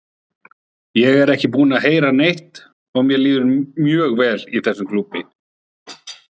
Ég er ekki búinn að heyra neitt og mér líður mjög vel í þessum klúbbi.